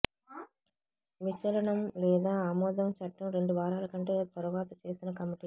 విచలనం లేదా ఆమోదం చట్టం రెండు వారాల కంటే తరువాత చేసిన కమిటీ